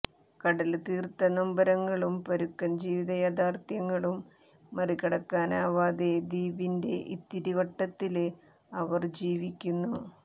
കടല് തീര്ത്ത നൊമ്പരങ്ങളും പരുക്കന് ജീവിത യാഥാര്ഥ്യങ്ങളും മറികടക്കാനാവാതെ ദ്വീപിന്റെ ഇത്തിരിവട്ടത്തില് അവര് ജീവിക്കുന്നു